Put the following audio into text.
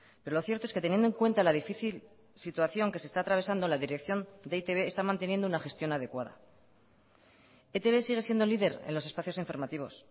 pero lo cierto es que teniendo en cuenta la difícil situación que se está atravesando la dirección de e i te be está manteniendo una gestión adecuada etb sigue siendo líder en los espacios informativos